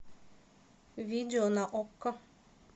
видео на окко